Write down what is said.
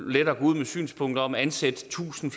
med synspunkter om at ansætte tusind